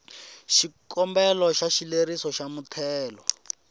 xikombelo xa xileriso xa muthelo